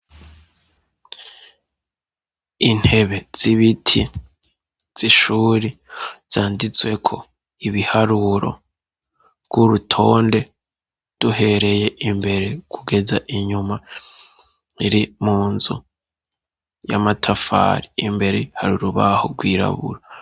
Intebe z'ibiti z'ishuri zanditswe ko ibiharuro rw'urutonde duhereye imbere kugeza inyuma iri mu nzu y'amatafari imbere hari urubaho rwirabura.